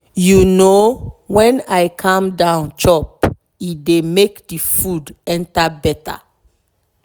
you know when i calm down chop e dey make the food enter better.